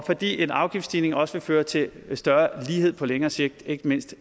fordi en afgiftsstigning også vil føre til større lighed på længere sigt ikke mindst